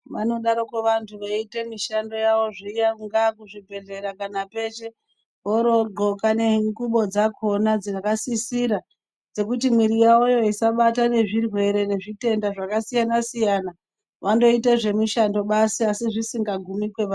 Vanodaroko vantu veita mishando yavo zviya kungaa kuzvibhedhleya kana peshe vorodhloka nengubo dzakhona dzakasisira dzekuti mwiri yavoyo isabatwa ngezvirwere ne zvitenda zvakasiyana - siyana vondoita zvemishando basi asi zvisingagumi kwevari